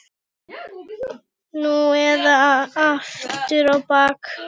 Nú eða aftur á bak!